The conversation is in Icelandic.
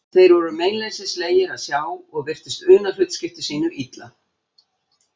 Þeir voru meinleysislegir að sjá og virtust una hlutskipti sínu illa.